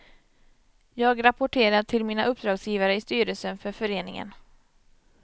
Jag rapporterar till mina uppdragsgivare i styrelsen för föreningen.